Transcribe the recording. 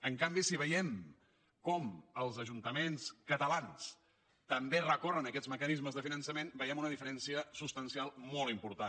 en canvi si veiem com els ajuntaments catalans també recorren a aquests mecanismes de finançament veiem una diferència substancial molt important